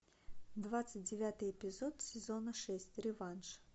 двадцать девятый эпизод сезона шесть реванш